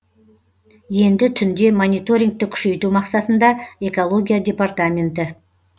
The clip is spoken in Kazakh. енді түнде мониторингті күшейту мақсатында экология департаменті